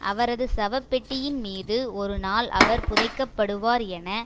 அவரது சவப்பெட்டியின் மீது ஒரு நாள் அவர் புதைக்கப்படுவார் என